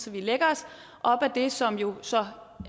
vi lægger os op ad det som jo så